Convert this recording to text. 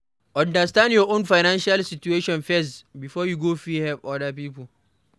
Understand your own financial situation first before you go fit help oda pipo